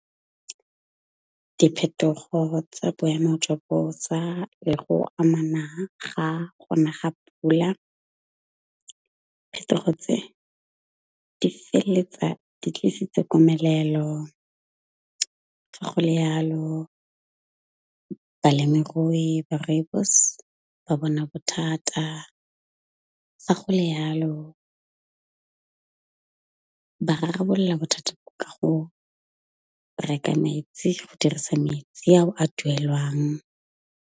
Diphetogo tsa boemo jwa bosa le go amana ga gona ga pula. Phetogo tse di feleletsa di tlisitse komelelo fa go le jalo, balemirui ba Rooibos ba bona bothata. Fa go le jalo ba rarabolola bothata ka go reka metsi go dirisa metsi ao a duelwang.